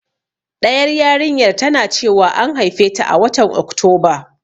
Ɗayar yarinyar tana cewa an haifeta a watan Oktoba.